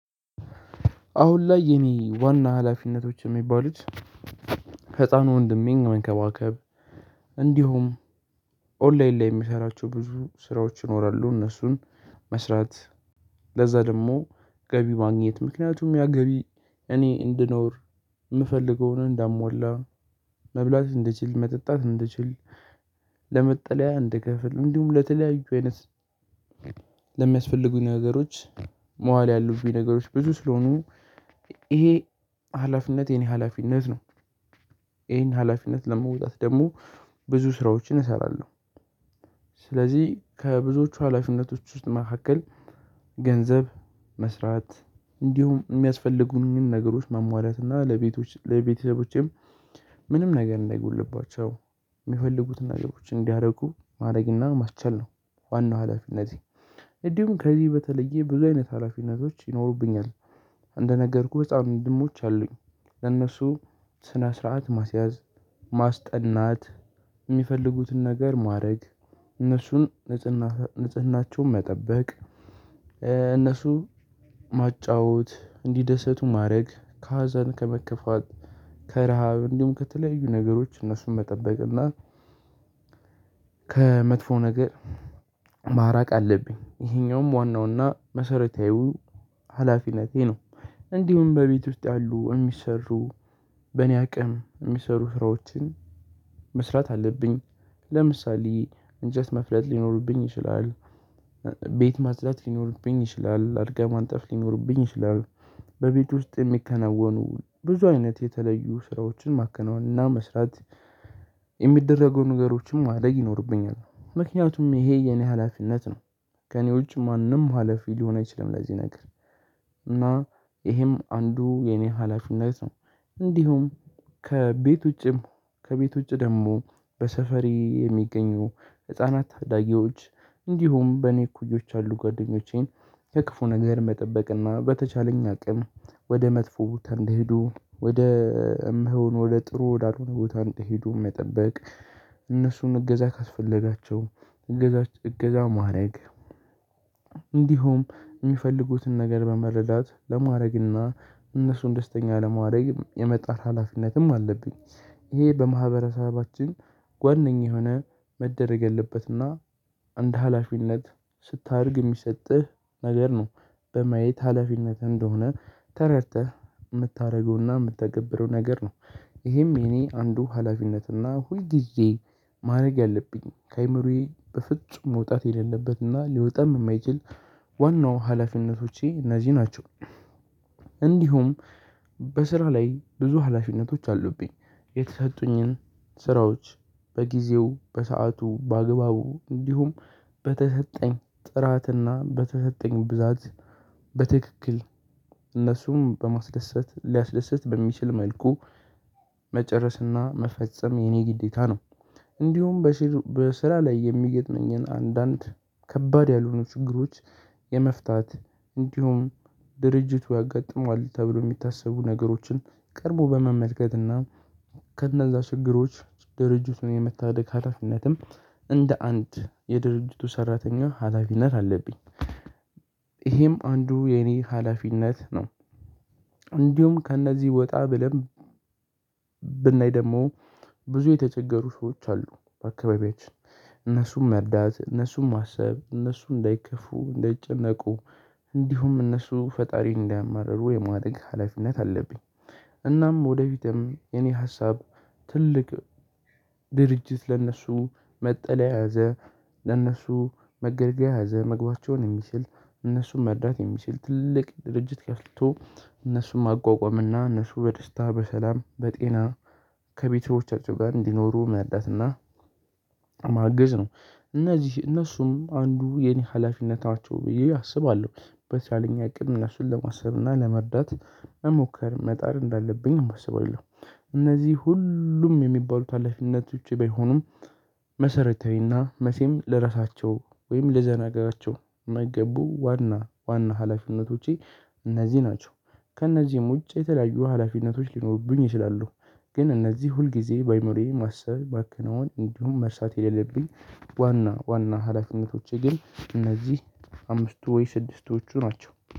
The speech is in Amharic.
አሁን ላይ የኔ ዋና ሀላፊነቶች የሚባሉት ህፃኑ ወንድሜን መንከባከብ እንዲሁም ኦንላይን ላይ የሚሰራቸው ብዙ ስራዎች ይኖራሉ እነሱን መስራት ለዛ ደግሞ ገቢ ማግኘት ምክንያቱም ያ ገቢ እኔ እንድኖር የምፈልገውን እንዳሟላ መብላት እንድችል መጠጣት እንድችል ለመጠለያ እንድከፍል እንዲሁም ለተለያዩ አይነት ለሚያስፈልጉኝ ነገሮች ማዋል ያሉብኝ ነገሮች ብዙ ስለሆኑ ይሄ ሀላፊነት የኔ ሀላፊነት ነው። ይሄን ሀላፊነት ለመውጣት ደግሞ ብዙ ስራዎችን እሰራለሁ። ስለዚህ ከብዙዎቹ ሀላፊነቶች ውስጥ መካከል ገንዘብ መስራት እንዲሁም የሚያስፈልጉኝን ነገሮች ሟሟላት እና ለቤተሰቦቼም ምንም ነገር እንዳይጎድልባቸው የሚፈልጉትን ነገሮች እንዲያደርጉ ማረግና ማስቻል ነው። ዋናው ሀላፊነቴ እንዲሁም ከዚህ በተለየ ብዙ አይነት ሀላፊነቶች ይኖሩብኛል። እንደነገርኩህ በጣም እጻን ወንድሞች አሉኝ ለእነሱ ስነ ስርዓት ማስያዝ ማስጠናት የሚፈልጉትን ነገር ማድረግ እነሱን ንጽህና ንጽህናቸውን መጠበቅ። እነሱ ማጫወት እንዲደሰቱ ማድረግ ከሀዘን ከመከፋት ከረሃብ እንዲሁም ከተለያዩ ነገሮች እነሱን መጠበቅ እና ከመጥፎ ነገር ማራቅ አለብኝ ይሄኛውም ዋናውና መሰረታዊ ሀላፊነቴ ነው። እንዲሁም በቤት ውስጥ ያሉ የሚሰሩ በእኔ አቅም የሚሰሩ ስራዎችን መስራት አለብኝ። ለምሳሌ እንጨጥ መፍለጥ ሊኖርብኝ ይችላል ቤት ማጽዳት ሊኖርብኝ ይችላል አልጋ ማንጠፍ ሊኖርብኝ ይችላል በቤት ውስጥ የሚከናወኑ ብዙ አይነት የተለያዩ ስራዎችን ማከናወን እና መስራት የሚደረጉ ነገሮችንም ማድረግ ይኖርብኛል ምክንያቱም ይሄ የኔ ሀላፊነት ነው። ከኔ ውጪ ማንም ሀላፊ ሊሆን አይችልም ለዚህ ነገር እና ይሄም አንዱ የኔ ሀላፊነት ነው። እንዲሁም ከቤት ውጪም ከቤት ውጪ ደግሞ በሰፈሬ የሚገኙ ህፃናት ታዳጊዎች እንዲሁም በኔ እኩዮች አሉ ጓደኞቼን ከክፉ ነገር መጠበቅና በተቻለኝ አቅም ወደ መጥፎ ቦታ እንዳዬዱ ወደ እማይወኑ ወደ ጥሩ ወዳልሆኑ ሆነ ቦታ እንዳዬሄዱ መጠበቅ። እነሱን እገዛ ካስፈለጋቸው እገዛ እገዛ ማድረግ እንዲሁም የሚፈልጉትን ነገር በመረዳት ለማድረግና እነሱን ደስተኛ ለማድረግ የመጣር ሀላፊነትም አለብኝ። ይሄ በማህበረሰባችን ዋነኛ የሆነ መደረግ የለበትና አንድ ሀላፊነት ስታደርግ የሚሰጥህ ነገር ነው። በማየት ሀላፊነት እንደሆነ ተረድተህ የምታደርገውና የምትተገብረው ነገር ነው። ይሄም የኔ አንዱ ሀላፊነትና ሁልጊዜ ማድረግ ያለብኝ ከአእምሮዬ በፍጹም መውጣት የሌለበትና ሊወጣም የማይችል ዋናው ሀላፊነቶቼ እነዚህ ናቸው። እንዲሁም በስራ ላይ ብዙ ሀላፊነቶች አሉብኝ የተሰጡኝን ስራዎች በጊዜው በሰአቱ በአግባቡ እንዲሁም በተሰጠኝ ጥራትና በተሰጠኝ ብዛት በትክክል እነሱን በማስደሰት ሊያስደስት በሚችል መልኩ መጨረስና መፈጸም የኔ ግዴታ ነው። እንዲሁም በስራ ላይ የሚገጥመኝን አንዳንድ ከባድ ያልሆኑ ችግሮች የመፍታት እንዲሁም ድርጅቱ ያጋጥመዋል ተብሎ ሚታሰቡ ነገሮችን ቀርቦ በመመልከትና ከነዛ ችግሮች ድርጅቱን የመታደግ ሀላፊነትም እንደ አንድ የድርጅቱ ሰራተኛ ሀላፊነት አለብኝ። ይሄም አንዱ የኔ ሀላፊነት ነው። እንዲሁም ከእነዚህ ወጣ ብለን ብናይ ደግሞ ብዙ የተቸገሩ ሰዎች አሉ በአካባቢያችን እነሱን መርዳት እነሱን ማሰብ እነሱ እንዳይከፉ እንዳይጨነቁ እንዲሁም እነሱ ፈጣሪን እንዳያማርሩ የማደረግ ሀላፊነት አለብኝ። እናም ወደፊትም የኔ ሀሳብ ትልቅ ድርጅት ለእነሱ መጠለያ ያዘ ለእነሱ መገልገያ ያዘ ምግባቸውን የሚችል እነሱን መርዳት የሚችል ትልቅ ድርጅት ከፍቶ እነሱን ሟቋቋምና እነሱ በደስታ በሰላም በጤና ከቤተሰቦቻቸው ጋር እንዲኖሩ መርዳት እና ማገዝ ነው። እነዚህ እነሱም አንዱ የኔ ሀላፊነት ናቸው ብዬ አስባለሁ። በተቻለኝ አቅም እነሱን ለማሰብና ለመርዳት መሞከር መጣር እንዳለብኝም አስባለው። እነዚህ ሁሉም የሚባሉት አላፊነቶቼ ባይሆኑም መሰረታዊና መቼም ልረሳቸው ወይም ልዘነጋቸው ማይገቡ ዋና ዋና ሀላፊነቶቼ እነዚህ ናቸው። ከእነዚህም ውጭ የተለያዩ ሀላፊነቶች ሊኖሩብኝ ይችላሉ። ግን እነዚህ ሁልጊዜ ባዕይምሮዬ ማሰብ ማከናወን እንዲሁም መርሳት የሌለብኝ ዋና ዋና ሀላፊነቶቼ ግን እነዚህ አምስቱ ወይ ስድስቶቹ ናቸው